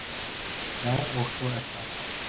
Já, og svo er það.